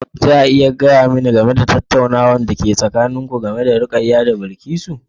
Za a iya gaya mani game da tattaunawar da ke tsakanin ku, Rukaya da Bilkisu?